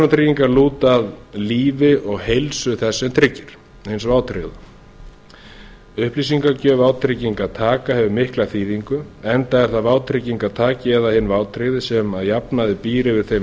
persónutryggingar lúta að lífi og heilsu þess sem tryggir hins vátryggða upplýsingagjöf vátryggingartaka hefur mikla þýðingu enda er það vátryggingartaki áðan inn vátryggði sem að jafnaði býr yfir þeim